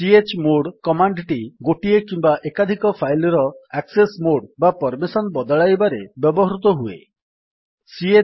chmod command ଟି ଗୋଟିଏ କିମ୍ୱା ଏକାଧିକ ଫାଇଲ୍ ର ଆକ୍ସେସ୍ ମୋଡ୍ ବା ପର୍ମିସନ୍ ବଦଳାଇବାରେ ବ୍ୟବହୃତ ହୁଏ